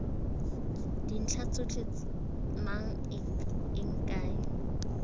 dintlha tsotlhe mang eng kae